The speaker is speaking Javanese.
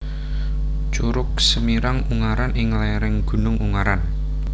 Curug Semirang Ungaran ing lerang Gunung Ungaran